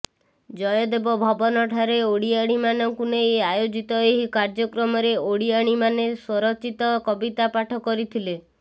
ଜୟଦେବ ଭବନଠାରେ ଓଡ଼ିଆଣୀମାନଙ୍କୁ ନେଇ ଆୟୋଜିତ ଏହି କାର୍ଯ୍ୟକ୍ରମରେ ଓଡ଼ିଆଣୀମାନେ ସ୍ୱରଚିତ କବିତା ପାଠ କରିଥିଲେ